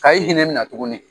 Ka e hinɛ mina tuguni